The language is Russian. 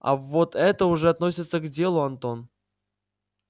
а вот это уже относится к делу антон